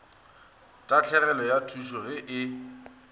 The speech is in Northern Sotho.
tahlegelo ya tšhuto ge e